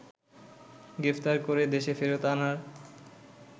গ্রেফতার করে দেশে ফেরত আনার